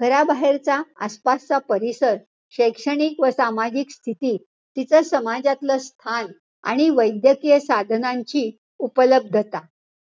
घराबाहेरच आसपासचा परिसर, शैक्षणिक व सामाजिक स्थिती, तीच समाजातलं स्थान आणि वैद्यकीय साधनांची उपलब्धता.